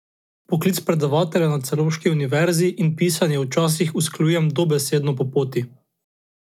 Poklic predavatelja na celovški univerzi in pisanje včasih usklajujem dobesedno po poti.